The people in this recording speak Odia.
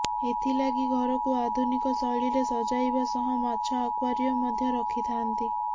ଏଥିଲାଗି ଘରକୁ ଆଧୁନିକ ଶୈଳୀରେ ସଜାଇବା ସହ ମାଛ ଆକୱାରିୟମ୍ ମଧ୍ୟ ରଖିଥାନ୍ତି